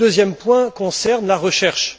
Le deuxième point concerne la recherche.